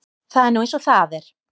Það er nú eins og það er.